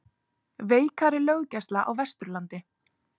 Veikari löggæsla á Vesturlandi